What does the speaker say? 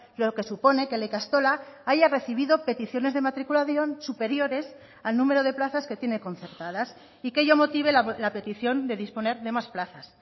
lo que supone que la ikastola haya recibido peticiones de matriculación superiores al número de plazas que tiene concertadas y que ello motive la petición de disponer de más plazas